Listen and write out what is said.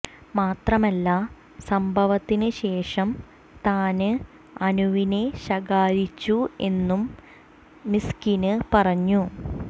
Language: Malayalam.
മാത്രമല്ല സംഭവത്തിന് ശേഷം താന് അനുവിനെ ശകാരിച്ചു എന്നും മിസ്കിന് പറഞ്ഞു